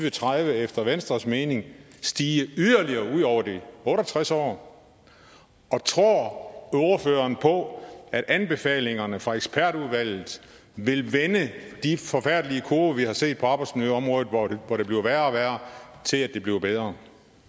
og tredive efter venstres mening stige yderligere ud over de otte og tres år tror ordføreren på at anbefalingerne fra ekspertudvalget vil vende de forfærdelige kurver vi har set på arbejdsmiljøområdet hvor det bliver værre og værre til at det bliver bedre